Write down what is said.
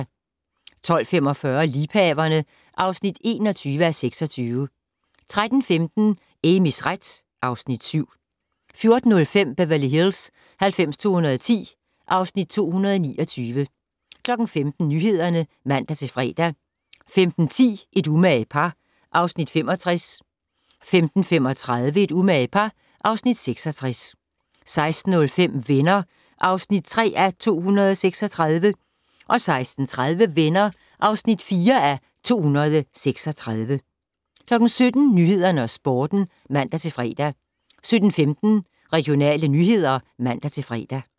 12:45: Liebhaverne (21:26) 13:15: Amys ret (Afs. 7) 14:05: Beverly Hills 90210 (Afs. 229) 15:00: Nyhederne (man-fre) 15:10: Et umage par (Afs. 65) 15:35: Et umage par (Afs. 66) 16:05: Venner (3:236) 16:30: Venner (4:236) 17:00: Nyhederne og Sporten (man-fre) 17:15: Regionale nyheder (man-fre)